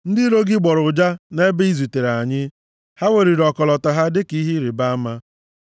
Ndị iro gị gbọrọ ụja nʼebe i zutere anyị. Ha weliri ọkọlọtọ ha dịka ihe ịrịbama.